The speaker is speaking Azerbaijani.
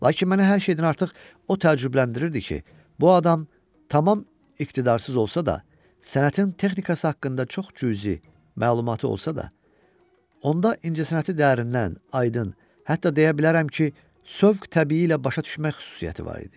Lakin mənə hər şeydən artıq o təəccübləndirirdi ki, bu adam tamam iqtidarsız olsa da, sənətin texnikası haqqında çox cüzi məlumatı olsa da, onda incəsənəti dərindən, aydın, hətta deyə bilərəm ki, sövq təbii ilə başa düşmək xüsusiyyəti var idi.